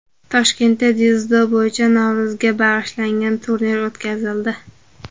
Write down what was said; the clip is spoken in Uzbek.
Toshkentda dzyudo bo‘yicha Navro‘zga bag‘ishlangan turnir o‘tkazildi.